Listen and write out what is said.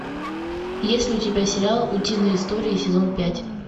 есть ли у тебя сериал утиные истории сезон пять